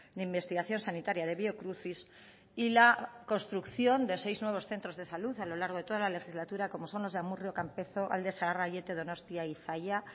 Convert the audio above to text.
de investigación sanitaria de biocruces y la construcción de seis nuevos centros de salud a largo de toda la legislatura como son los de amurrio campezo alde zaharra aiete donostia y zalla